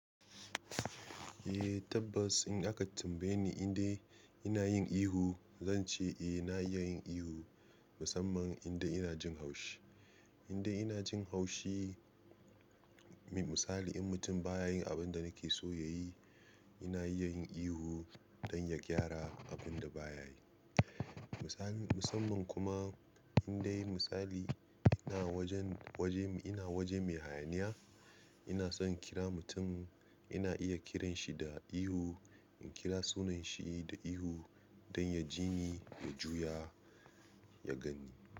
Eh tabbas in aka tambaye ni inda ina yin ihu, zan ce eh na iya yin ihu musamman inda ina jin haushi. Inda ina jin haushi, misali in mutum ba ya yin abin da nake so ya yi, ina iya yin ihu don ya gyara abin da ba ya yi. Misali musamman kuma indai misali ina wajen waje ina waje mai hayaniya, ina son kira mutum ina iya kiranshi da ihu, in kira sunanshi da ihu don ya jini jiyi ya juya ya gani.